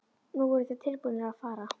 Nú voru þeir tilbúnir að fara.